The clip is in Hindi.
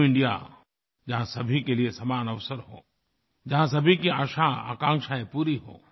न्यू इंडिया जहाँ सभी के लिए समान अवसर हों जहाँ सभी की आशाआकांक्षाएँ पूरी हों